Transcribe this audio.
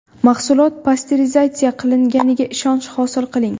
Mahsulot pasterizatsiya qilinganiga ishonch hosil qiling.